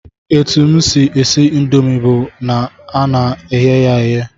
Etu m si esi indomi bụ na ana m eghe ya eghe